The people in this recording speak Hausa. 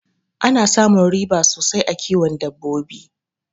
Ana samun riba sosai a kiwon dabbabo